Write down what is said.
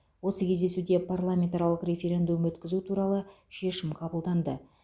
осы кездесуде парламентаралық референдум өткізу туралы шешім қабылданды